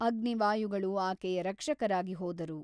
ಅಗ್ನಿ ವಾಯುಗಳು ಆಕೆಯ ರಕ್ಷಕರಾಗಿ ಹೋದರು.